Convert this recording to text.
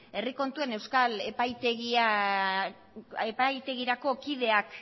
herri kontuen euskal epaitegirako kideak